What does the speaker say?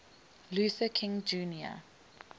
luther king jr